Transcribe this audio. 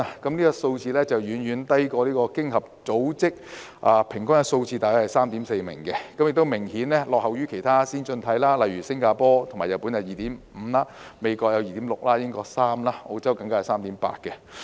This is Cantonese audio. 這數字遠遠低於經合組織的平均數字，亦明顯落後於其他先進經濟體，例如新加坡和日本有 2.5 名，美國有 2.6 名，英國有3名，澳洲更有 3.8 名。